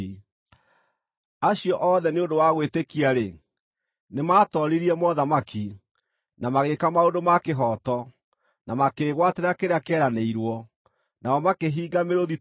acio othe nĩ ũndũ wa gwĩtĩkia-rĩ, nĩmatooririe mothamaki, na magĩĩka maũndũ ma kĩhooto, na makĩĩgwatĩra kĩrĩa kĩeranĩirwo; nao makĩhinga mĩrũũthi tũnua,